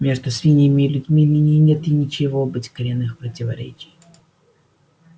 между свиньями и людьми ныне нет и нечего быть коренных противоречий